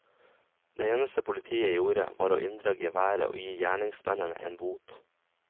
Det eneste politiet gjorde var å inndra geværet og gi gjerningsmennene en bot.